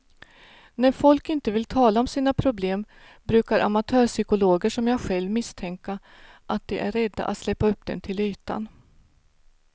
När folk inte vill tala om sina problem brukar amatörpsykologer som jag själv misstänka att de är rädda att släppa upp dem till ytan.